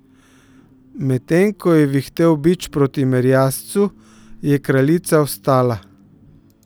Medtem ko je vihtel bič proti merjascu, je kraljica vstala.